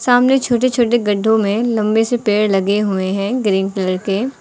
सामने छोटे छोटे गड्ढों में लंबे से पेड़ लगे हुए हैं ग्रीन कलर के।